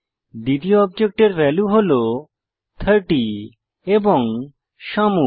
দ্বিতীয় অবজেক্টের ভ্যালু হল 30 এবং শ্যামু